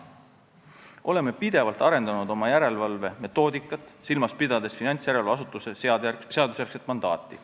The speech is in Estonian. Oleme pidevalt arendanud oma järelevalvemetoodikat, silmas pidades finantsjärelevalveasutuse seadusjärgset mandaati.